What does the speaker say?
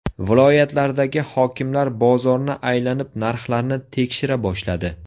Viloyatlardagi hokimlar bozorni aylanib narxlarni tekshira boshladi .